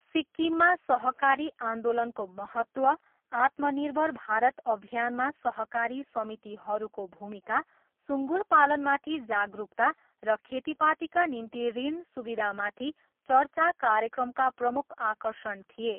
सिक्किममा सहकारी आन्दोलनको महत्त्व, आत्मनिर्भर भारत अभियानमा सहकारी समितिहरूको भूमिका, सुँगुर पालनमाथि जागरुकता र खेतीपातीका निम्ति ऋण सुविधामाथि चर्चा कार्यक्रमका प्रमुख आकर्षण थिए।